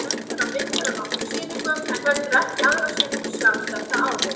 Gerður á myndir á nokkrum sýningum en heldur ekki aðra sýningu sjálf þetta árið.